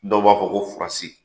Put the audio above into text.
Dɔw b'a fɔ ko furasi.